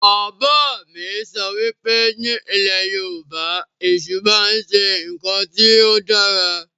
Bàbá mi sọ wípé ni ilẹ̀ Yorùbá, Èṣù máa ń ṣe ǹkan tí ó dára